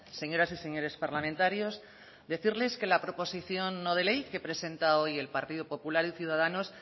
señoras y señores parlamentarios decirles que la proposición no de ley que presenta hoy el partido popular y ciudadanos